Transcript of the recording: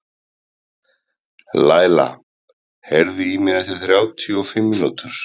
Læla, heyrðu í mér eftir þrjátíu og fimm mínútur.